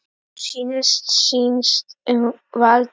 Hún snýst um vald.